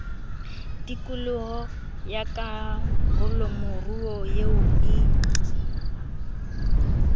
tikolo ya karolomoruo eo e